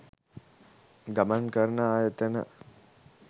ගමන් කරන ආයතන